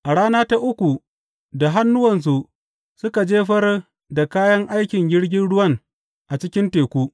A rana ta uku, da hannuwansu suka jefar da kayan aikin jirgin ruwan a cikin teku.